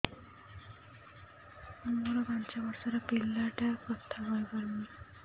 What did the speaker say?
ମୋର ପାଞ୍ଚ ଵର୍ଷ ର ପିଲା ଟା କଥା କହି ପାରୁନି